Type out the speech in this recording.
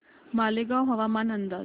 मालेगाव हवामान अंदाज